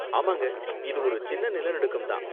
ஆமாங்க, இது ஒரு சின்ன நிலநடுக்கம் தான்.